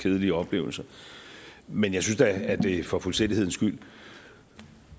kedelige oplevelser men jeg synes da at det for fuldstændighedens skyld